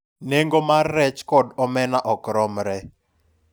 nengo mar rech kod omena ok romre